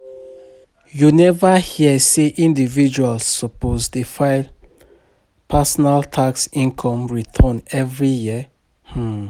You neva hear sey individuals suppose dey file personal tax income return every year?